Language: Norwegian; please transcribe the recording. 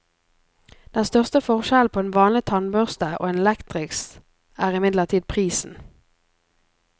Den største forskjellen på en vanlig tannbørste og en elektrisk, er imidlertid prisen.